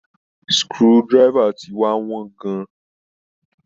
Screw driver ti wá wọ́n gan-an.